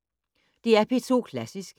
DR P2 Klassisk